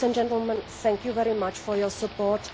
Ladies and gentlemen, thank you very much for your support.